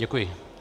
Děkuji.